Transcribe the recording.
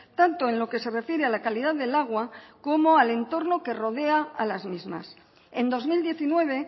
tanto en lo que se refiere a la calidad del agua como al entorno que rodea a las mismas en dos mil diecinueve